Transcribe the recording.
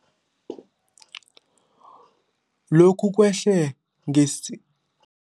Lokhu kwehle ngesi